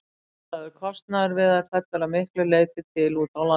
Útlagður kostnaður við þær fellur að miklu leyti til úti á landi.